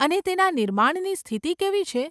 અને તેના નિર્માણની સ્થિતિ કેવી છે?